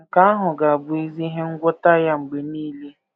Nke ahụ ga - abụ ezi ihe ngwọta ya mgbe nile. ”